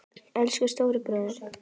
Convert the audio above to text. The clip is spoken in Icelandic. Elsku stóri bróðir.